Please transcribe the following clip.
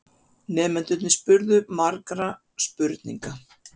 Nemendurnir spurðu margra spurninga.